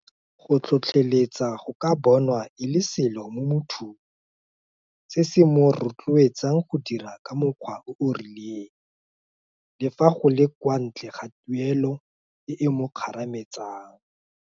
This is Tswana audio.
GOo tlotlheletsa go ka bonwa e le selo mo mothong se se mo rotloetsang go dira ka mokgwa o o rilen le fa go le kwa ntle ga tuelo e e mo kgarametsang.